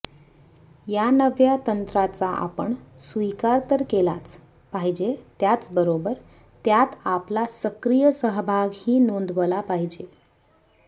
या नव्या तंत्राचा आपण स्वीकार तर केलाच पाहिजे त्याचबरोबर त्यात आपला सक्रिय सहभागही नोंदवला पाहिजे